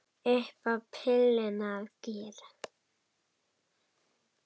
Upp á pilluna að gera.